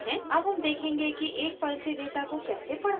अब हम देखेंगे कि एक फाइल से डेटा को कैसे पढ़ते हैं